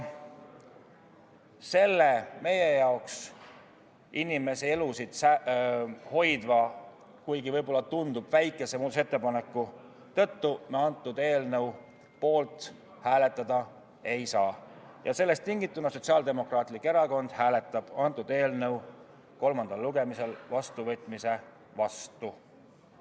Selle inimeste elusid hoidva, kuigi võib-olla väikese muudatusettepaneku tõttu me antud eelnõu poolt hääletada ei saa ja sellest tingituna hääletab Sotsiaaldemokraatlik Erakond antud eelnõu kolmandal lugemisel vastuvõtmise vastu.